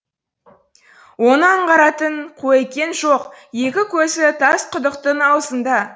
оны аңғаратын қуекең жоқ екі көзі тас құдықтың аузында